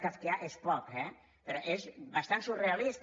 kafkià és poc eh és bastant surrealista